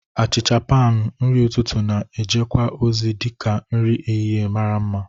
Achicha panu, nri ụtụtụ, na- ejekwa ozi dị ka nri ehihie mara mma.